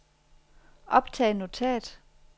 optag notat